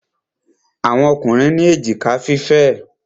Àwọn Ọkùnrin ní èjìká fífẹ̀.